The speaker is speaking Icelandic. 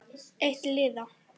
Eitt liða.